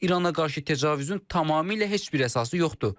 İrana qarşı təcavüzün tamamilə heç bir əsası yoxdur.